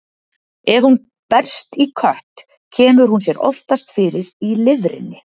Ef hún berst í kött, kemur hún sér oftast fyrir í lifrinni.